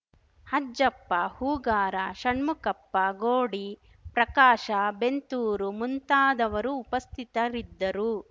ಅಜ್ಜಪ್ಪ ಹೂಗಾರ ಶಣ್ಮುಕಪ್ಪ ಗೋಡಿ ಪ್ರಕಾಶ ಬೆಂತೂರು ಮುಂತಾದವರು ಉಪಸ್ಥಿತರಿದ್ದರು